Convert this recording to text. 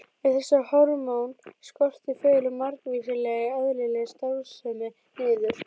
Ef þessi hormón skortir fellur margvísleg eðlileg starfsemi niður.